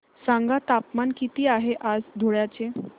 सांगा तापमान किती आहे आज धुळ्याचे